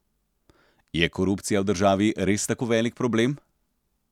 Je korupcija v državi res tako velik problem?